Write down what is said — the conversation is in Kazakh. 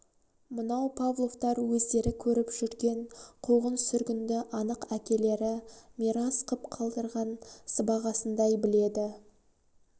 мынау павловтар өздері көріп жүрген қуғын-сүргінді анық әкелері мирас қып қалдырған сыбағасындай біледі